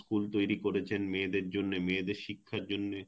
তৈরি করেছেন মেয়েদের জন্যে মেয়েদের শিক্ষার জন্যে;